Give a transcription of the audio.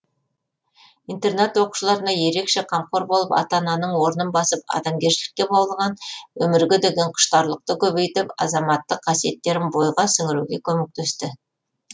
интернат оқушыларына ерекше қамқор болып ата ананың орнын басып адамгершілікке баулыған өмірге деген құштарлықты көбейтіп азаматтық қасиеттерін бойға сіңіруге көмектесті